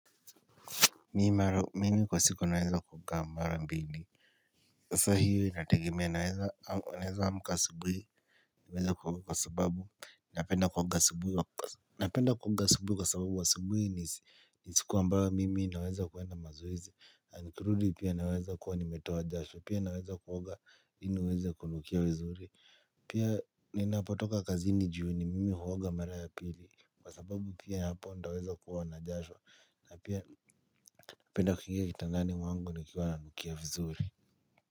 Mimi kwa siku naweza kuoga mara mbili sasa hiyo inategemea naweza amka asubuhi. Naweza kwa sababu napenda kuoga asubuhi. Napenda kuoga asubuhi kwa sababu asubuhi ni siku ambayo mimi naweza kuenda mazoezi na nikirudi pia naweza kuwa nimetoa jasho pia naweza kuoga ili niweza kunukia vizuri. Pia ninapotoka kazini juu ni mimi huoga mara ya pili. Kwa sababu pia hapa nitaweza kuwa na jasho na pia napenda kuingia kitandani mwangu nikiwa nanukia vizuri.